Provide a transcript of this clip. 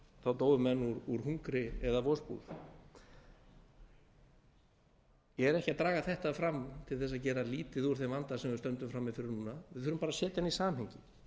þá dóu menn úr hungri eða vosbúð ég er ekki að draga þetta fram til að gera lítið úr þeim vanda sem við stöndum frammi fyrir núna við þurfum að setja hann í samhengi